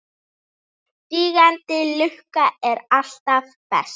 Sígandi lukka er alltaf best.